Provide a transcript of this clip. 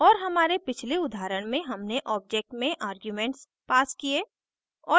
और हमारे पिछले उदाहरण में हमने object में आर्ग्यूमेंट्स passed किये